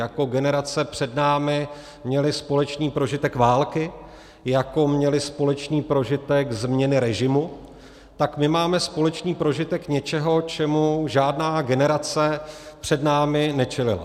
Jako generace před námi měly společný prožitek války, jako měly společný prožitek změny režimu, tak my máme společný prožitek něčeho, čemu žádná generace před námi nečelila.